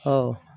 Ɔ